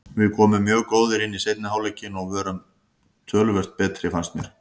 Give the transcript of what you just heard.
Við komum mjög góðir inn í seinni hálfleikinn og vorum töluvert betri fannst mér.